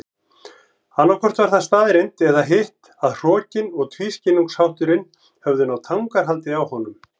Annaðhvort var það staðreynd eða hitt að hrokinn og tvískinnungshátturinn höfðu náð tangarhaldi á honum.